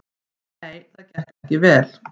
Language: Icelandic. Nei, það gekk vel.